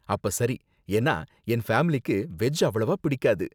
அப்ப சரி, ஏன்னா, என் ஃபேமிலிக்கு வெஜ் அவ்வளவா பிடிக்காது.